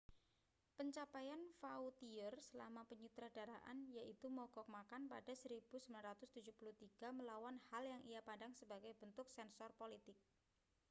pencapaian vautier selain penyutradaraan yaitu mogok makan pada 1973 melawan hal yang ia pandang sebagai bentuk sensor politik